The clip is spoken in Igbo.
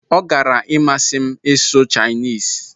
Ọ gara-imasị m ịsụ Chinese.